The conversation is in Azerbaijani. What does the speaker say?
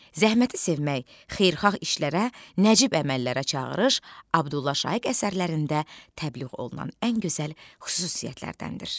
Zəhməti sevmək, xeyirxah işlərə, nəcib əməllərə çağırış Abdullah Şaiq əsərlərində təbliğ olunan ən gözəl xüsusiyyətlərdəndir.